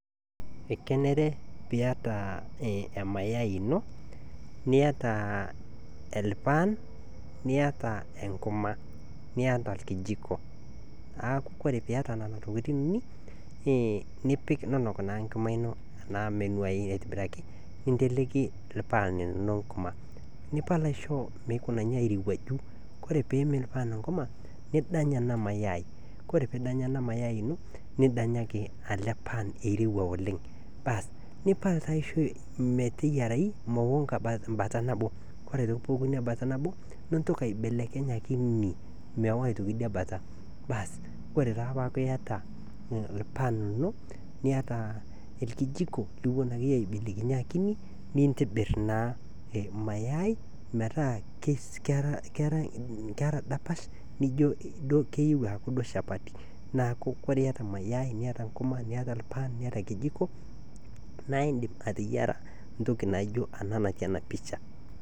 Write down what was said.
Ekeneere pii ataa emayai enoo nietaa elpaan, nietaa enkimaa nietaa elkijikoo. Naaku ore pii eiyataa nenaa ntokitin unii nipiik ninuuk naa nkumaa enoo anaa meinuaai aitibiraki neiteleki lpaan linoo nkumaa nipaal aishoo meeikunaiyu airewuaju. Kore pee iim lpaaan nkimaa nidaany ana maayai. Kore piidaany ana maayai nidanyaaki ele paan ereuwa oleng baas nipaal taa aishoo meteyarai meteoo mbaata naboo kore pee eoo mbaata naboo niintooki aipelekeny akinyii meoo aitokii enia mbaata, baas kore taa pataa eyaata lpaan linoo nieta lkijiko niwuenake enyee aibelekinye akinyii niitibiir maayai metaa keraa ndaapash nijoo keiyeu aaku doo shaapati . Naaku kore eiyataa maayai nieta nkumaa nieta lpaan nietaa lkijiiko naa idiim ateyaara ntooki naijoo ana natii ana picha.